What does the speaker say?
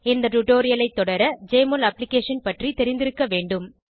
இந்த டுடோரியலை தொடர ஜெஎம்ஒஎல் அப்ளிகேஷன் பற்றி தெரிந்திருக்க வேண்டும்